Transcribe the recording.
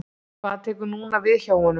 Hvað tekur núna við hjá honum?